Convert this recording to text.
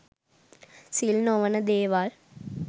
සිල් නොවන දේවල්